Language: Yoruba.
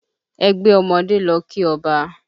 Ẹgbẹ́ ọmọdé lọ kí ọba